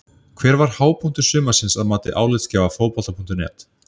Hver var hápunktur sumarsins að mati álitsgjafa Fótbolta.net?